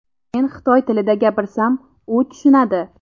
Men xitoy tilida gapirsam u tushunadi.